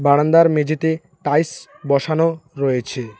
বারান্দার মেঝেতে টাইলস বসানো রয়েছে।